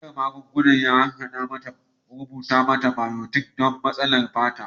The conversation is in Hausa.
Likitan harhada magunguna ya rubuta mata bayotin don matsalar fata.